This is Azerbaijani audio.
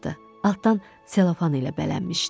Altdan selofan ilə bələnmişdi.